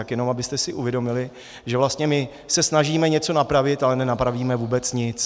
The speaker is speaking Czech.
Tak jenom abyste si uvědomili, že vlastně my se snažíme něco napravit, ale nenapravíme vůbec nic.